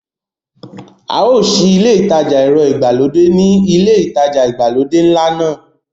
A ó sí ilé ìtajà ẹ̀rọ ìgbàlódé ni ilé ìtajà ìgbàlódé ńlá náà.